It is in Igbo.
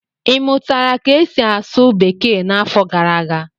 ị mụtara ka esi asụ bekee n'afọ gara aga?